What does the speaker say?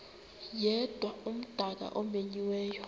yedwa umdaka omenyiweyo